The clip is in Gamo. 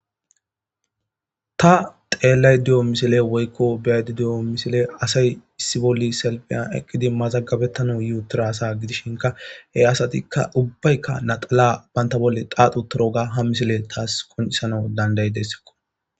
Ta xeellay di7o misile woykko beyaydi di'o misile asay issi bolli selpiyan eqqidi mazagabettana yi utira asa gidishinka hey asatikka ubbaykka naxala banta bolle xaaxu utiroga ha misile taas konisana dandayi dessekko.